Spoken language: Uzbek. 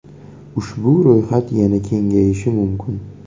Ushbu ro‘yxat yana kengayishi mumkin.